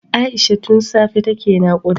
Aisha tun safe take nakuda